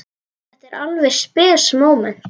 Þetta var alveg spes móment.